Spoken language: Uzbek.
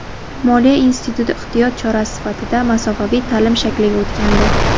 Moliya instituti ehtiyot chorasi sifatida masofaviy ta’lim shakliga o‘tgandi.